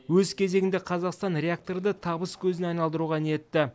өз кезегінде қазақстан реакторды табыс көзіне айналдыруға ниетті